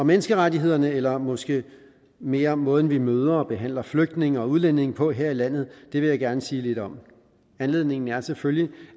menneskerettighederne eller måske mere måden vi møder og behandler flygtninge og udlændinge på her i landet vil jeg gerne sige lidt om anledningen er selvfølgelig